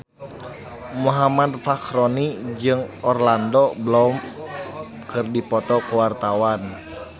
Muhammad Fachroni jeung Orlando Bloom keur dipoto ku wartawan